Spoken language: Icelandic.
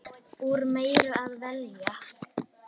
Úr meiru að velja!